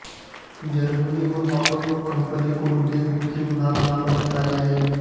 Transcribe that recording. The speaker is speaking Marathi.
जर्मनीहून ऑटॉबोक कंपनीकडून हे कृत्रिम हात मागवण्यात आले आहेत